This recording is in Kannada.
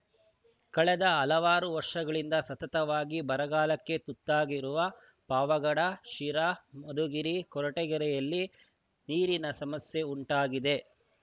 ಕಳೆದ ಹಲವಾರು ವರ್ಷಗಳಿಂದ ಸತತವಾಗಿ ಬರಗಾಲಕ್ಕೆ ತುತ್ತಾಗಿರುವ ಪಾವಗಡ ಶಿರಾ ಮಧುಗಿರಿ ಕೊರಟಗೆರೆಯಲ್ಲಿ ನೀರಿನ ಸಮಸ್ಯೆ ಉಂಟಾಗಿದೆ